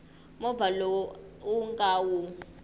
movha lowu u nga wu